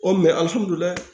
O